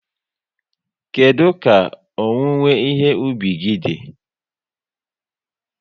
Kedu ka owuwe ìhè ubi gi dị?